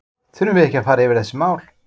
Þurfum við ekki að fara yfir þessi mál?